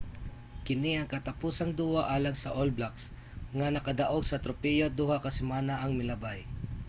kini ang katapusang duwa alang sa all blacks nga nakadaog na sa tropeyo duha ka semana ang milabay